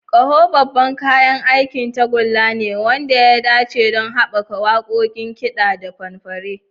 Ƙaho babban kayan aikin tagulla ne wanda ya dace don haɓaka waƙoƙin kiɗa da fanfare.